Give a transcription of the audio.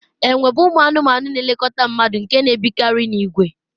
enwe bụ ụmụ anụmanụ na-elekọta mmadụ nke na-ebikarị n'ìgwè